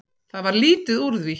Það varð lítið úr því.